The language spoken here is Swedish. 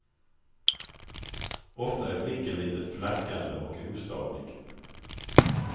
Ofta är blicken lite flackande och ostadig.